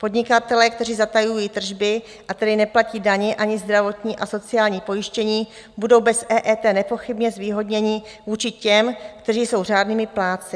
Podnikatelé, kteří zatajují tržby, a tedy neplatí daně ani zdravotní a sociální pojištění, budou bez EET nepochybně zvýhodněni vůči těm, kteří jsou řádnými plátci.